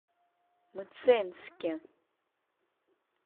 мценске